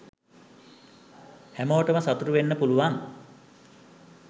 හැමෝටම සතුටු වෙන්න පුළුවන්